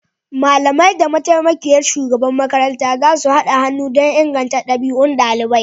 Malamai da mataimakiyar shugaban makaranta zasu haɗa hannu don inganta ɗabi'un ɗaliban